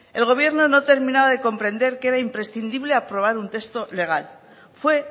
el gobierno no terminaba de comprender que era imprescindible aprobar un texto legal fue